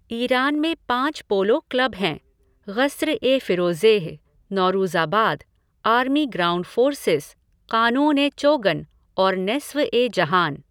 Iran में पाँच polo club हैंः ग़स्र ए फ़िरोज़ेह, नौरूज़ाबाद, आर्मी ग्राउंड फोर्सेस, क़ानून ए चोगन और नेस्फ़ ए जहान।